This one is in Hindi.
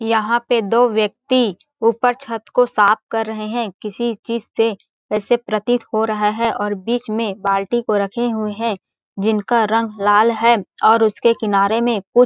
यहाँ पर दो व्यक्ति ऊपर छत को साफ कर रहे है किसी चीज से ऐसे प्रतीत हो रहा है और बीच में बाल्टी को रखे हुए है जिनका रंग लाल है और उसके किनारे में कुछ --